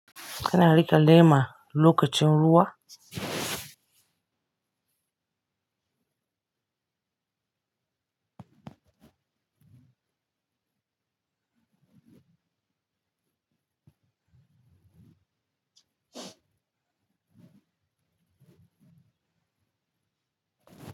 Kana riƙe lema lokacin ruwa?